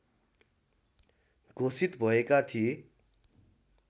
घोषित भएका थिए